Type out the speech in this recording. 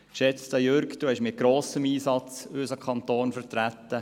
Geschätzter Jürg Iseli, mit grossem Einsatz haben Sie unseren Kanton vertreten.